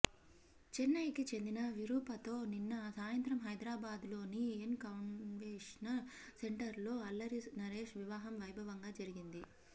చెన్నైకి చెందిన విరూపతో నిన్న సాయంత్రం హైద్రాబాద్లోని ఎన్ కన్వెన్షన్ సెంటర్లో అల్లరి నరేష్ వివాహం వైభవంగా జరిగింది